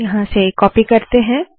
यहाँ आते है